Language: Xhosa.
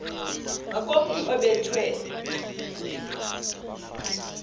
ngakomntu obe thwe